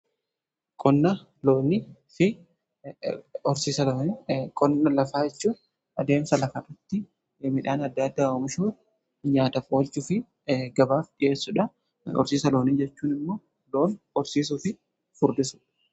qonna loonii fi horsiisa loonii , qonna lafaa jechuu adeemsa lafarratti midhaan adda adda oomishuu nyaataf oolchuu fi gabaaf dhi'eessuudha. horsiisa loonii jechuun immoo loon horsiisuufi furdisudha.